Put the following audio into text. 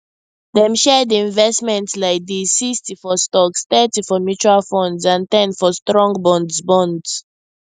dem share the investment like this 60 for stocks thirty for mutual funds and ten for strong bonds bonds